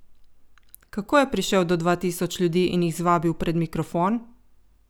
Kako je prišel do dva tisoč ljudi in jih zvabil pred mikrofon?